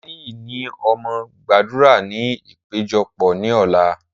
Olaniyi ni ó máa gbàdúrà ní ìpéjọpọ̀ ní ọ̀la.